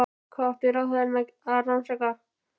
Hvað átti ráðherrann að rannsaka?